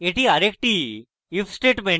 এটি আরেকটি if statement